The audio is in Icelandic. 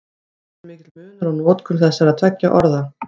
Ekki er mikill munur á notkun þessara tveggja orða.